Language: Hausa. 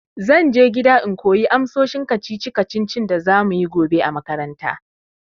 Zan je gida in koyi amsoshin kacici kacicin da za muyi gobe a makaranta.